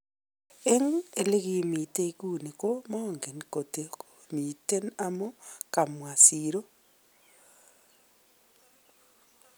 Eng elekimiten iguni ko mange kotko miten amune..,"kamwa Sirro.